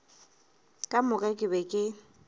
ka moka ke be ke